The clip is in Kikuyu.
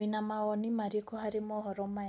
Wĩna mawoni marĩkũ harĩ mohoro maya ?